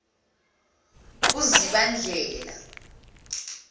uzibandlela